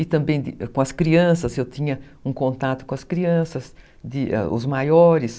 E também com as crianças, eu tinha um contato com as crianças, de, os maiores.